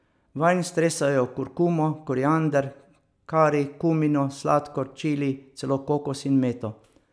Vanj stresajo kurkumo, koriander, kari, kumino, sladkor, čili, celo kokos in meto.